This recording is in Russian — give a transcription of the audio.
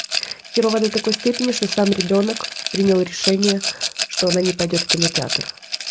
херово до такой степени что сам ребёнок принял решение что она не пойдёт в кинотеатр